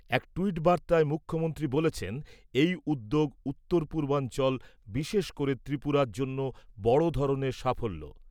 এক ট্যুইট বার্তায় মুখ্যমন্ত্রী বলেছেন এই উদ্যোগ উত্তর পূর্বাঞ্চল বিশেষ করে ত্রিপুরার জন্য বড় ধরনের সাফল্য।